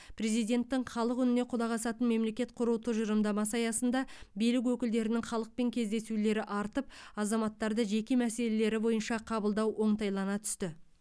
президенттің халық үніне құлақ асатын мемлекет құру тұжырымдамасы аясында билік өкілдерінің халықпен кездесулері артып азаматтарды жеке мәселелері бойынша қабылдау оңтайлана түсті